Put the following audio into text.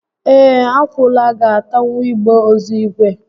Ee, akwụala ga atanwu igbe ozu ígwè